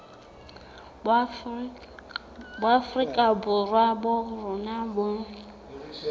boafrika borwa ba rona bo